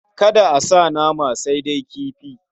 Kada a sa nama, sai dai kifi.